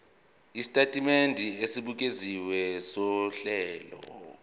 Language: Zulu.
isitatimende esibukeziwe sohlelo